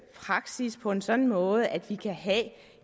praksis på en sådan måde at vi